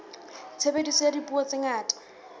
tshebediso ya dipuo tse ngata